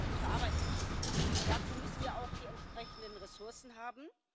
Wir wollen ja gute Arbeit machen, und dazu müssen wir auch die entsprechenden Ressourcen haben.